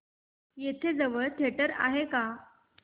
इथे जवळ थिएटर आहे का